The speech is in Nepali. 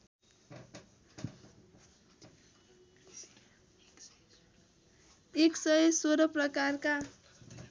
१ सय १६ प्रकारका